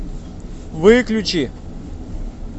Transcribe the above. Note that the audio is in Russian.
выключи